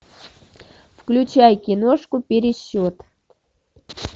включай киношку пересчет